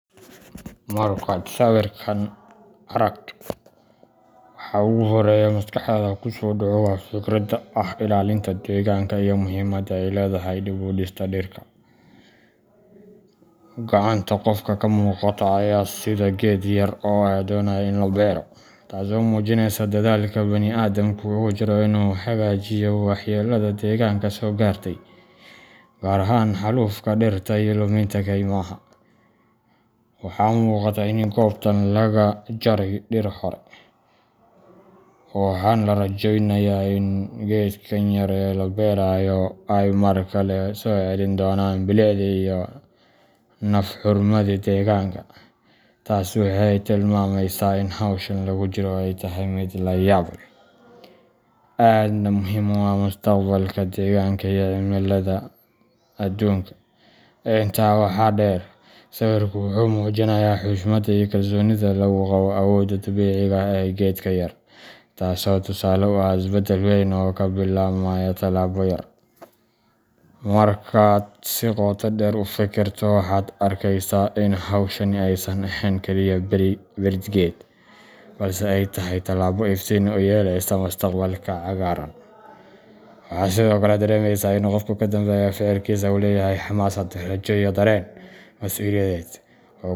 Markaad sawirkan aragto, waxa ugu horreeya ee maskaxdaada ku soo dhaca waa fikradda ah ilaalinta deegaanka iyo muhiimada ay leedahay dib u dhiska dhirta. Gacanta qofka ka muuqata ayaa sidda geed yar oo la doonayo in la beero, taasoo muujinaysa dadaalka bani’aadamku ugu jiro inuu hagaajiyo waxyeellada deegaanka soo gaartay, gaar ahaan xaalufka dhirta iyo luminta kaymaha. Waxaa muuqata in goobtan laga jaray dhir hore, waxaana la rajaynayaa in geedkan yaryar ee la beerayo ay mar kale soo celin doonaan bilicdii iyo naf hurnimadii deegaanka. Taas waxay tilmaamaysaa in hawshan lagu jiro ay tahay mid la yaab leh, aadna muhiim u ah mustaqbalka deegaanka iyo cimillada adduunka. Intaa waxaa dheer, sawirku wuxuu muujinayaa xushmadda iyo kalsoonida lagu qabo awoodda dabiiciga ah ee geedka yar, taasoo tusaale u ah isbeddel weyn oo ka bilaabmaya talaabo yar. Markaad si qoto dheer u fikirto, waxaad arkeysaa in hawshani aysan ahayn kaliya beerid geed, balse ay tahay tallaabo iftiin u yeelaysa mustaqbal cagaaran. Waxaa sidoo kale dareemaysaa in qofka ka dambeeya ficilkaasi uu leeyahay xamaasad, rajo, iyo dareen mas’uuliyadeed.